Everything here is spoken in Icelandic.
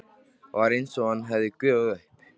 Var einsog hann hefði gufað upp.